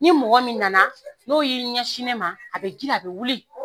Ni mɔgɔ min nana n'o y'i ɲɛ sin ne ma a bɛ grin a bɛ wuli.]